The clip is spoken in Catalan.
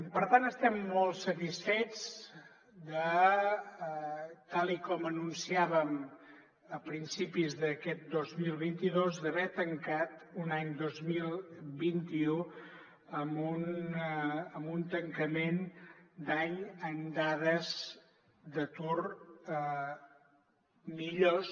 per tant estem molt satisfets tal com anunciàvem a principis d’aquest dos mil vint dos d’haver tancat un any dos mil vint u amb dades d’atur millors